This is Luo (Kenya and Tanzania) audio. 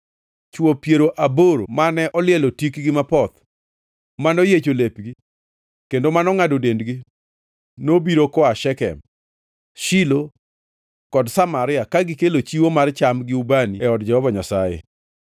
chwo piero aboro mane olielo tikgi mapoth, manoyiecho lepgi kendo mongʼado dendgi nobiro koa Shekem, Shilo kod Samaria, ka gikelo chiwo mar cham gi ubani e od Jehova Nyasaye.